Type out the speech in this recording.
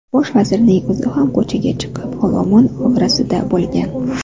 Bosh vazirning o‘zi ham ko‘chaga chiqib, olomon orasida bo‘lgan.